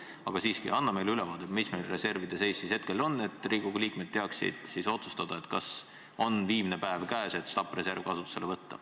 Aga siiski, anna meile ülevaade, milline seis meil reservidega hetkel on, et Riigikogu liikmed teaksid otsustada, kas viimnepäev on käes, et stabiliseerimisreserv kasutusele võtta.